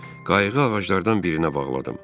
Qayığı ağaclardan birinə bağladım.